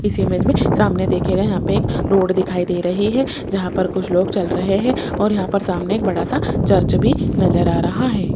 इस इमेज में सामने देखिएगा यहां पे एक रोड दिखाई दे रही है जहां पर कुछ लोग चल रहे हैं और यहां पर एक सामने बड़ा सा चर्च भी नजर आ रहा है।